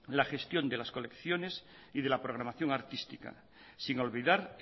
la gestión de las colecciones y de la programación artística sin olvidar